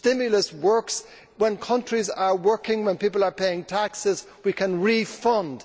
Stimulus works when countries are working, when people are paying taxes we can refund.